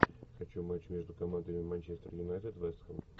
хочу матч между командами манчестер юнайтед вест хэм